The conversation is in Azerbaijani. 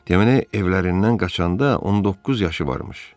Deməli, evlərindən qaçanda 19 yaşı varmış.